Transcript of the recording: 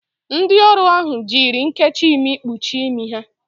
Ndị ọrụ ahụ jiri nnkechi imi kpuchie imi ha.